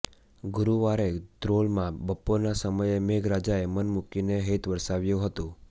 ગુરૂવારે ધ્રોલમાં બપોરના સમયે મેઘરાજાએ મનમૂકીને હેત વરસાવ્યું હતું